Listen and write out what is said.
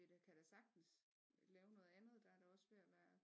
Vi da kan da sagtens lave noget andet der er da også ved at være